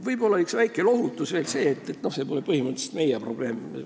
Võib-olla on väikeseks lohutuseks veel see, et põhimõtteliselt pole see ainult meie probleem.